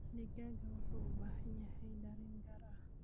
Digaagga waxay u baahan yihiin dareen gaar ah.